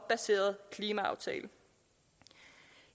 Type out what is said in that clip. baserede klimaaftale